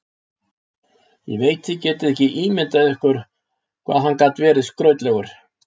Ég veit þið getið ekki ímyndað ykkur hvað hann gat verið skrautlegur.